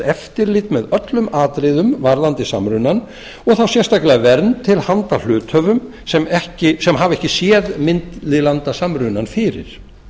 eftirlit með öllum atriðum varðandi samrunann og þá sérstaklega vernd til handa hluthöfum sem hafa ekki séð millilandasamrunann fyrir